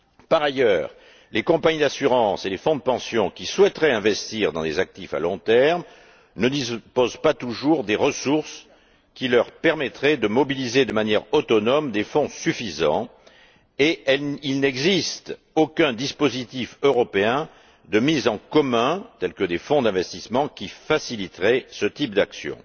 Par ailleurs, les compagnies d'assurance et les fonds de pension qui souhaiteraient investir dans les actifs à long terme ne disposent pas toujours des ressources qui leur permettraient de mobiliser de manière autonome des fonds suffisants, et il n'existe aucun dispositif européen de mise en commun, tel que des fonds d'investissement, qui faciliteraient ce type d'action.